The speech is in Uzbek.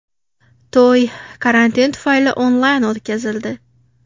To‘y karantin tufayli onlayn o‘tkazildi.